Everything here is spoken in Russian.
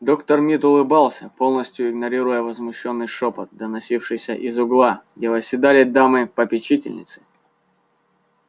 доктор мид улыбался полностью игнорируя возмущённый шёпот доносившийся из угла где восседали дамы-попечительницы